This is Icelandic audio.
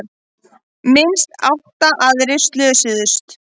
Minnst átta aðrir slösuðust